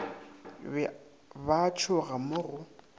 ba a tšhoga mo go